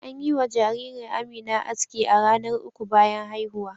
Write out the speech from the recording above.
An yi wa jaririr Amina aski a ranar uku bayan haihuwa.